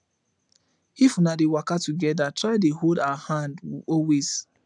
if una dey waka togeda try dey hold her hand always